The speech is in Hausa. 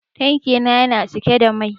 Tanki na yana cike da mai.